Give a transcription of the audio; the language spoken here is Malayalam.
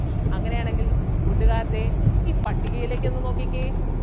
അങ്ങനെ ആണെങ്കിൽ കൂട്ടുകാര് ദേ ഈ പട്ടികയിലേക്ക് ഒന്ന് നോക്കിക്കേ,